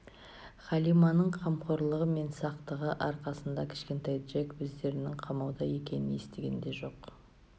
халиманың қамқорлығы мен сақтығы арқасында кішкентай джек өздерінің қамауда екенін естіген де жоқ